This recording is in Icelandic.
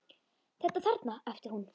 Þetta þarna, æpti hún.